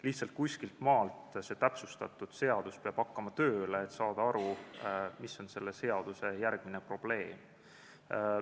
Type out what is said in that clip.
Lihtsalt kuskiltmaalt peab see täpsustatud seadus tööle hakkama, et saada aru, mis on selle järgmine probleem.